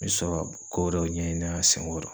N be sɔ ka ko dɔw ɲɛɲin'a seŋɔrɔ